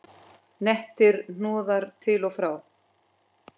Nettir hnoðrar til og frá.